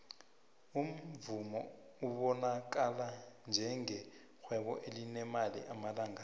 umuvumo ubanakala ngenge rhwebo elinemali amalanga la